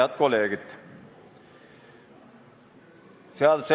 Head kolleegid!